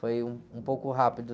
Foi um, um pouco rápido.